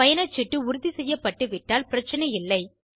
பயணச் சீட்டு உறுதி செய்யப்பட்டுவிட்டால் பிரச்னை இல்லை